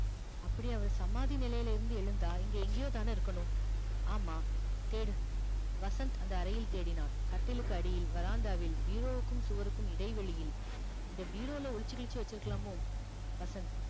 அப்படி அவர் சமாதி நிலையிலிருந்து எழுந்தால் இங்கே எங்கேயோதானே இருக்கணும் ஆமாம் தேடு வசந்த் அந்த அறையில் தேடினான் கட்டிலுக்கு அடியில் veranda வில் bureau வுக்கும் சுவருக்கும் இடைவெளியில் இந்த bureau ல ஒளிச்சு கிழிச்சு வச்சிருக்கலாமோ வசந்த்